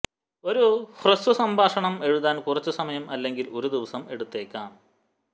ഒരു ഹ്രസ്വ സംഭാഷണം എഴുതാൻ കുറച്ച് സമയം അല്ലെങ്കിൽ ഒരു ദിവസം എടുത്തേക്കാം